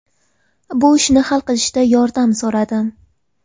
Bu ishni hal qilishda yordam so‘radim.